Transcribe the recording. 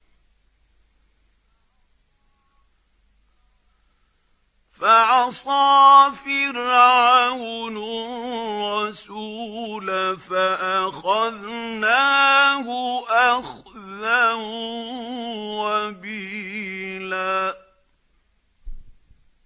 فَعَصَىٰ فِرْعَوْنُ الرَّسُولَ فَأَخَذْنَاهُ أَخْذًا وَبِيلًا